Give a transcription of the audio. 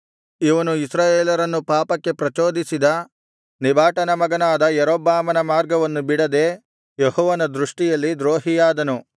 ಇವನು ಇಸ್ರಾಯೇಲರನ್ನು ಪಾಪಕ್ಕೆ ಪ್ರಚೋದಿಸಿದ ನೆಬಾಟನ ಮಗನಾದ ಯಾರೊಬ್ಬಾಮನ ಮಾರ್ಗವನ್ನು ಬಿಡದೆ ಯೆಹೋವನ ದೃಷ್ಟಿಯಲ್ಲಿ ದ್ರೋಹಿಯಾದನು